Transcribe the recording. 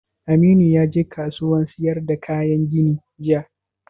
Aminu ya je kasuwan sayar da kayan gini jiya?